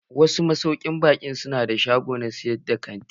Wasu masaukin baƙi na da shagon sayar da kanti.